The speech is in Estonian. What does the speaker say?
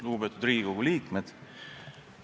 Lugupeetud Riigikogu liikmed!